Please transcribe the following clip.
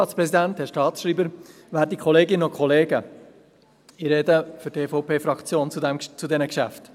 Ich spreche für die EVP-Fraktion zu diesen Geschäften.